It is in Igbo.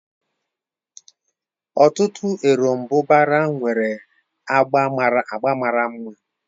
Ọtụtụ erombubara nwere agba mara mma.